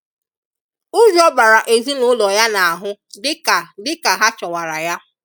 Ujọ bara ezi na ụlọ ya n'ahụ dịka dịka ha chọwara ya.